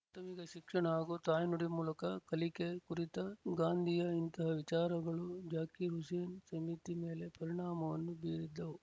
ಪ್ರಾಥಮಿಕ ಶಿಕ್ಷಣ ಹಾಗೂ ತಾಯ್ನುಡಿ ಮೂಲಕ ಕಲಿಕೆ ಕುರಿತ ಗಾಂಧಿಯ ಇಂತಹ ವಿಚಾರಗಳು ಜಾಕಿರ್ ಹುಸೇನ್ ಸಮಿತಿ ಮೇಲೆ ಪರಿಣಾಮವನ್ನು ಬೀರಿದ್ದವು